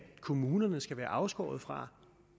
kommunerne skal være afskåret fra